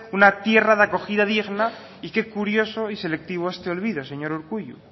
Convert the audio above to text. una tierra de acogida digna y qué curioso y selectivo a este olvido señor urkullu